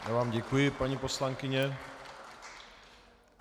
Já vám děkuji, paní poslankyně.